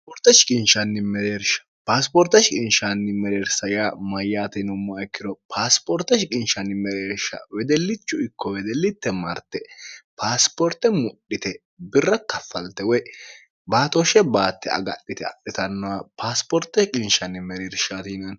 ineeershaasipoorteshi qinshaanni mereersa yaa mayyaatinumma ikkiro paasipoorteshi qinshanni mereersha wedellichu ikko wedellitte marte paasipoorte mudhite birra kaffalte woy baatooshshe baatte agadhite adhitannoha paasipoorteshi qinshanni mereershtiin